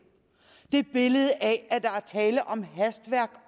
billedet af at der er tale om hastværk